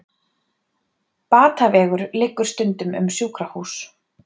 Batavegur liggur stundum um sjúkrahús.